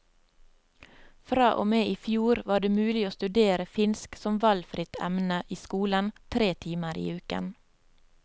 Fra og med i fjor var det mulig å studere finsk som valgfritt emne i skolen tre timer i uken.